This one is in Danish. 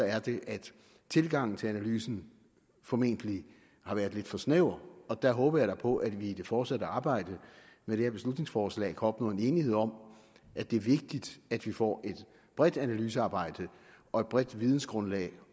er det at tilgangen til analysen formentlig har været lidt for snæver og der håber jeg da på at vi i det fortsatte arbejde med det her beslutningsforslag kan opnå en enighed om at det er vigtigt at vi får et bredt analysearbejde og et bredt videngrundlag